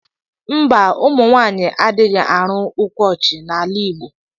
Mba ụmụnwanyi adighi ari ukwọji na ala igbo.